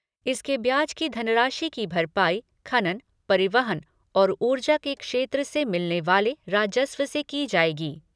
इसके ब्याज की धनराशि की भरपाई खनन, परिवहन और ऊर्जा के क्षेत्र से मिलने वाले राजस्व से की जायेगी।